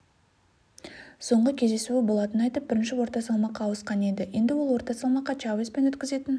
соңғы кездесуі болатынын айтып бірінші орта салмаққа ауысқан еді енді ол орта салмаққа чавеспен өткізетін